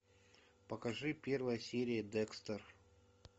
покажи первая серия декстер